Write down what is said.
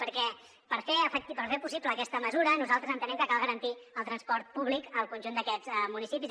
perquè per fer possible aquesta mesura nosaltres entenem que cal garantir el transport públic al conjunt d’aquests municipis